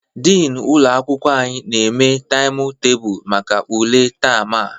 Dini ụlọ akwụkwọ anyị na-eme taịmụ tebulu maka ule taam a